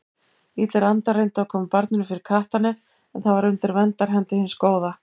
Illir andar reyndu að koma barninu fyrir kattarnef en það var undir verndarhendi hins góða.